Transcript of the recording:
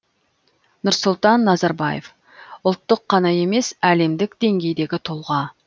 нұрсұлтан назарбаев ұлттық қана емес әлемдік деңгейдегі тұлға